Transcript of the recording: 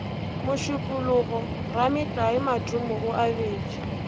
mošupologo rametlae matome o abetše